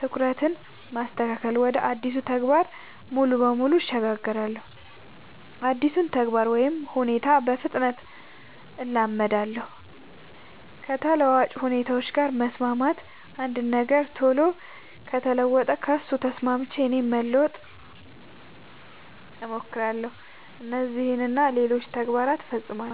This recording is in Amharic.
ትኩረትን ማስተካከል ወደ አዲሱ ተግባር ሙሉ በሙሉ እሸጋገራለሁ አዲሱን ተግባር ወይ ሁኔታ በፍጥነት እላመዳለው። ከተለዋዋጭ ሁኔታዎች ጋር መስማማት አንድ ነገር ቶሎ ከተለወጠ ከሱ ተስማምቼ እኔም ለመለወጥ ሞክራለው። እነዚህን እና ሌሎችም ተግባር ፈፅማለው።